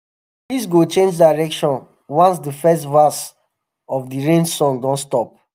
breeze go change direction once the first verse of the um rain song don stop.